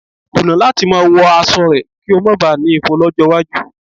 Kùnà láti máa wọ aṣọ rẹ̀ kí o bá ma kó ifo lọ́jọ́ iwájú.